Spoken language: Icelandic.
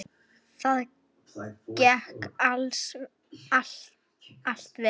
Það gekk allt vel.